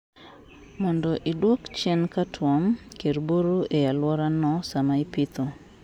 mondo iduoko chien cutworm, kir buru ei aluora no sama ipitho